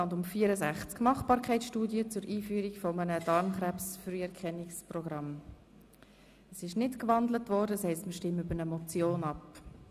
Es wurde nicht gewandelt, das heisst, wir stimmen über eine Motion ab.